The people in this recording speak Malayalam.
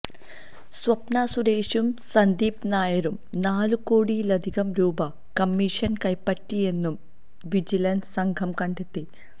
സ്വപ്നാ സുരേഷും സന്ദീപ് നായരും നാലു കോടിയിലധികം രൂപ കമ്മിഷൻ കൈപ്പറ്റിയെന്നും വിജിലൻസ് സംഘം കണ്ടെത്തി